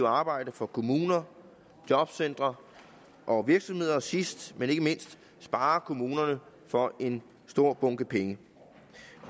arbejde for kommuner jobcentre og virksomheder og som sidst men ikke mindst sparer kommunerne for en stor bunke penge